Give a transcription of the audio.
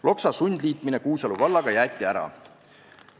Loksa sundliitmine Kuusalu vallaga jäeti ära.